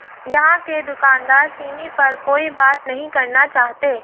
यहां के दुकानदार सिमी पर कोई बात नहीं करना चाहते